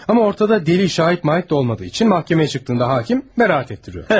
Ama ortada dəlil, şahit-mahit de olmadığı için məhkəməyə çıktığında hakim bəraət etdiriyor.